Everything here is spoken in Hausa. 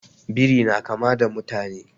Biri na kama da mutane